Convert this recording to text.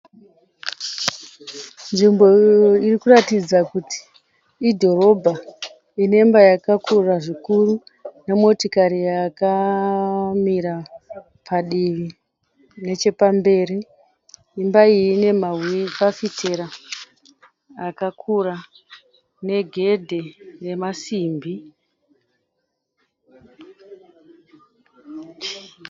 Nzvimbo irikuratidza kuti idhorobha inemba yakakura zvikuru nemotokari yakamira padivi nechepamberi , imba iyi ine mafafitera akakura negedhi remasimbi.